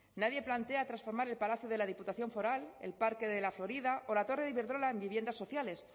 nadie plantea transformar el palacio de la diputación foral el parque de la florida o la torre de iberdrola en viviendas sociales